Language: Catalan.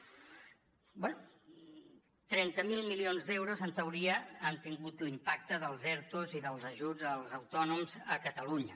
bé trenta miler milions d’euros en teoria han tingut l’impacte dels ertos i dels ajuts als autònoms a catalunya